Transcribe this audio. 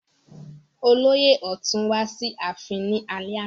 Olóyè ọ̀tún wá sí ààfin ní alẹ́ àná